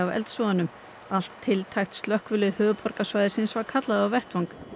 eldsvoðanum allt tiltækt slökkvilið höfuðborgarsvæðisins var kallað á vettvang